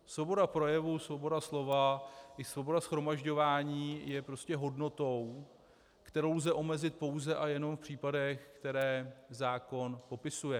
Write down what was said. Svoboda projevu, svoboda slova i svoboda shromažďování je prostě hodnotou, kterou lze omezit pouze a jenom v případech, které zákon popisuje.